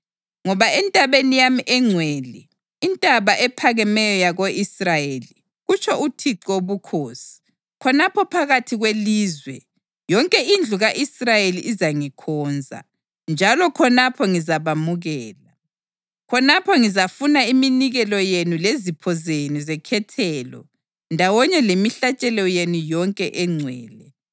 Ngoba entabeni yami engcwele, intaba ephakemeyo yako-Israyeli, kutsho uThixo Wobukhosi, khonapho phakathi kwelizwe, yonke indlu ka-Israyeli izangikhonza, njalo khonapho ngizabamukela. Khonapho ngizafuna iminikelo yenu lezipho zenu zekhethelo ndawonye lemihlatshelo yenu yonke engcwele.